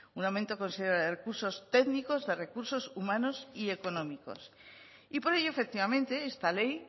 un aumento considerable de recursos técnicos de recursos humanos y económicos y por ello efectivamente esta ley